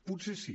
potser sí